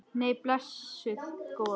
Nei, blessuð góða.